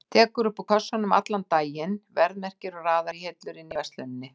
Tekur upp úr kössum allan daginn, verðmerkir og raðar í hillur inni í versluninni.